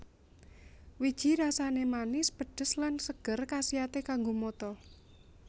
Wiji rasané manis pedes lan seger kasiaté kanggo mata